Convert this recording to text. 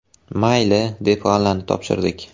Mayli, deb g‘allani topshirdik.